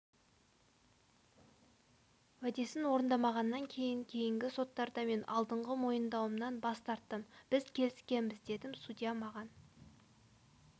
уәдесін орындамағаннан кейін кейінгі соттарда мен алдыңғы мойындауымнан бас тарттым біз келіскенбіз дедім судья маған